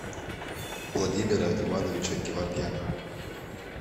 владимира ивановича геворгяна